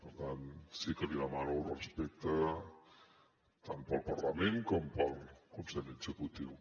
per tant sí que li demano respecte tant pel parlament com pel consell executiu